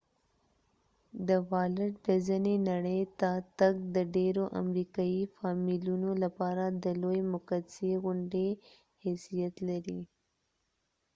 د والټ ډزنی نړی ته تګ د ډیرو امریکایې فامیلونو لپاره د لوي مقدسی غونډی حیثیت لري